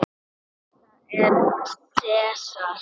Þetta er Sesar.